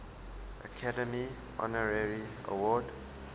academy honorary award